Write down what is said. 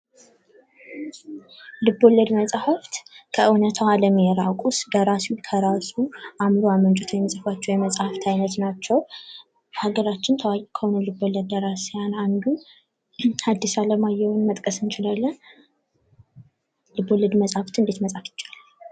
ልቦለድ መፅሀፍት ከእውነታው አለም የራቁ ደራሲው ከራሱ አእምሮ አመንጭቶ የሚፅፋቸው የመፅሀፍት አይነት ናቸው። ከአገራችን ታዋቂ ከሆኑ ልቦለድ ደራሲያን አንዱ ሀዲስ አለማየሁን መጥቀስ እንችላለን። ልቦለድን መፅሀፍትን እንዴት መፃፍ እንችላለን?